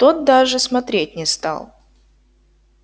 тот даже смотреть не стал